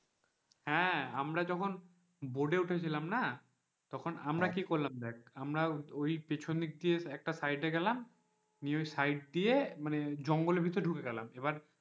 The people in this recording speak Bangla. হ্যাঁ আমরা যখন boat উঠেছিলাম না তখন আমরা কি করলাম দেখ আমরা ওই পেছনদিকে একটা side গেলাম দিয়ে ওই side দিয়ে জঙ্গলের ভেতর ঢুকে গেলাম এবার,